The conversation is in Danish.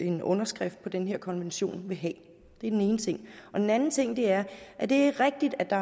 en underskrift på den her konvention vil have det er den ene ting den anden ting er at det er rigtigt at